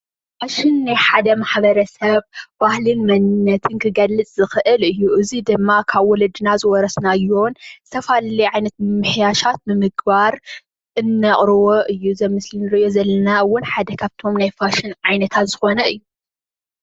ፋሽን ናይ ሓደ ማሕበረ ሰብ ባህልን መንነትን ክገልፅ ዝክእል እዩ። እዚ ድማ ካብ ወለድና ዝወረስናዮን ዝተፈላለዩ ዓይነት ምምሕያሻት ብምግባር እነቅርቦ እዩ:: እዚ ምስሊ እንርእዮ ዘለና እውን ሓደ ካብቶም ናይ ፋሽን ዓይነታት ዝኮነ እዩ።